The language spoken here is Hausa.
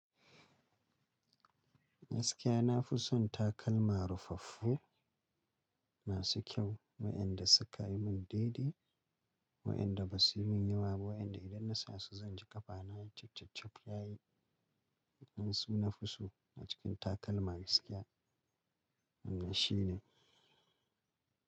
Gaskiya na fi son takalma ruffaffu masu kyau, waenda suka yi mun daidai, waenda ba su yi min yawa, waenda idan na sa su zan ji ƙafana cipcipcip yayi. Ni su na fi so a cikin takalma gaskiya. Wannan shine.